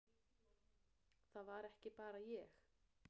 Það var ekki bara ég.